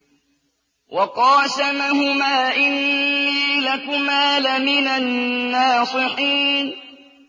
وَقَاسَمَهُمَا إِنِّي لَكُمَا لَمِنَ النَّاصِحِينَ